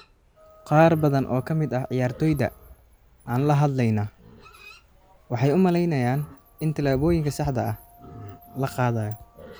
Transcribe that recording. Qaar badan oo ka mid ah ciyaartoyda aan la hadlayna waxay u maleynayaan in tillaabooyinka saxda ah la qaadayo.